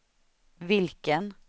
vilken